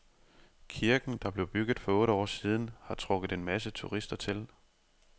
Kirken, der blev bygget for otte år siden, har trukket en masse turister til.